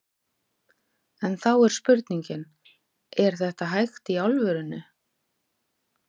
En þá er spurningin, er þetta hægt í alvörunni?